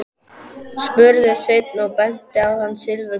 spurði Sveinn og benti á þann silfurgráa.